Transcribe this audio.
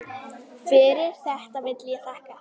Fyrir þetta vil ég þakka.